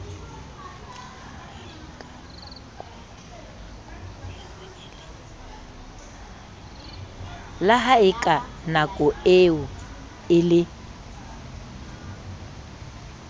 la haeka nakoeo e le